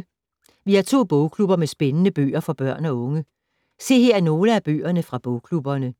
Vi har to bogklubber med spændende bøger for børn og unge. Se her nogle af bøgerne fra bogklubberne.